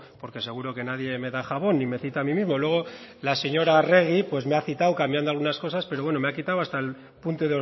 porque seguro que nadie me da jabón y me cita a mí mismo luego la señora arregi me ha citado cambiando algunas cosas pero bueno me ha quitado hasta el punto